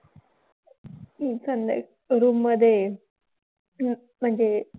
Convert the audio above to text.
room मध्ये म्हणजे